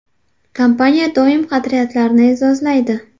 Kompaniya doimo qadriyatlarni e’zozlaydi.